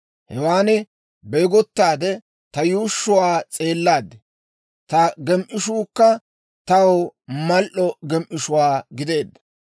Hewan beegottaade ta yuushshuwaa s'eellaad; ta gem"ishuukka taw mal"o gem"ishuwaa gideedda.